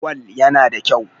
Gwal yana da kyau.